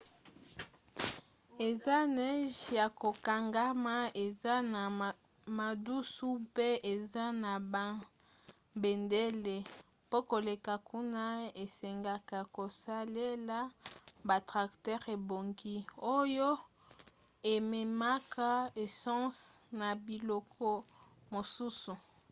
eza neige ya kokangama eza na madusu mpe eza na babendele. mpo koleka kuna esengaka kosalela batracteurs ebongi oyo ememaka essence na biloko mosusu